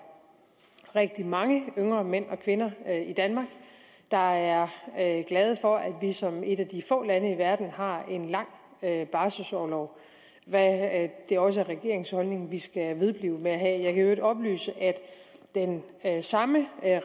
rigtig mange yngre mænd og kvinder i danmark der er glade for at vi som et af de få lande i verden har en lang barselorlov hvad det også er regeringens holdning at vi skal vedblive med at have i øvrigt oplyse at den samme